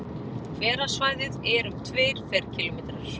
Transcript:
Hverasvæðið er um tveir ferkílómetrar.